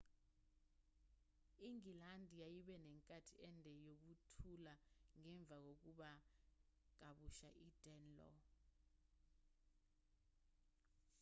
ingilandi yayibe nenkathi ende yokuthula ngemva kokunqoba kabusha idanelaw